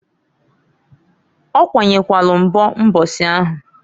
Okwanyekwalu nbo mbosi ahụ.